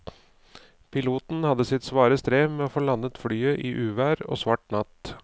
Piloten hadde sitt svare strev med å få landet flyet i uvær og svart natt.